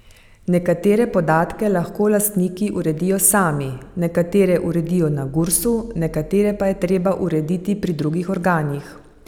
Nekatere podatke lahko lastniki uredijo sami, nekatere uredijo na Gursu, nekatere pa je treba urediti pri drugih organih.